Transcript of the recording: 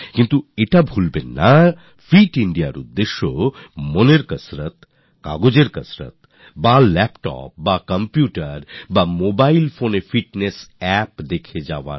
কিন্তু এটা ভুললে চলবে না যে ফিট ইন্দিয়া মানে শুধুই মস্তিস্কের কসরৎ কাগজের কসরত বা ল্যাপটপ কিংবা computerএ কিংবা mobilephoneএ fitnessএর appদেখে যাওয়া